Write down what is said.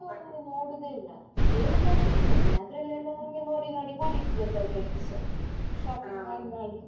ನೋಡುದೆ ಇಲ್ಲ ಬೇರೆಲ್ಲ ನೋಡ್ತೇನೆ ಅದ್ರಲ್ಲಿ ಎಲ್ಲ ನನ್ಗೆ ನೋಡಿ ನೋಡಿ ಬೊಡಿತು ಎಲ್ಲದಲ್ಲಿಸ shopping ಮಾಡಿ ಮಾಡಿ.